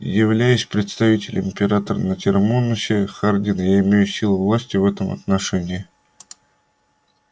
являясь представителем императора на термонусе хардин я имею силу власти в этом отношении